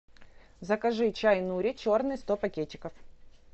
закажи чай нури черный сто пакетиков